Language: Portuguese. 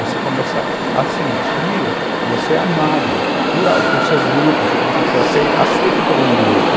Você começa a sentir que você é amado por seu grupo, você começa a ser aceito por um grupo.